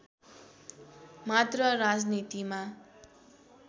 मात्र राजनीतिमा